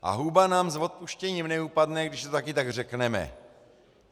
A huba nám, s odpuštěním, neupadne, když to taky tak řekneme.